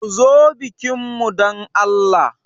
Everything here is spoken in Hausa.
Ku zo bikin mu dan Allah.